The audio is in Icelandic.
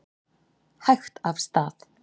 Hægt af stað